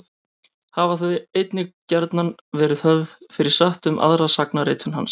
Hafa þau einnig gjarnan verið höfð fyrir satt um aðra sagnaritun hans.